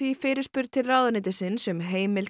fyrirspurn til ráðuneytisins um heimild